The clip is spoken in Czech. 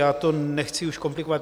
Já to nechci už komplikovat.